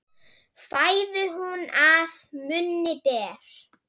Fæðu hún að munni ber.